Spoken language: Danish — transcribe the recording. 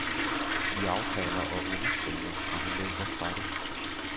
Vi aftaler og underskriver, og han løber fra det.